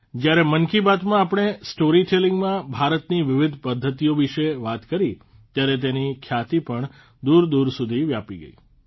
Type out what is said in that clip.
જયારે મન કી બાતમાં આપણે સ્ટોરી ટેલીંગમાં ભારતની વિવિધ પધ્ધતિઓ વિશે વાત કરી ત્યારે તેની ખ્યાતિ પણ દૂરદૂર સુધી વ્યાપી ગઇ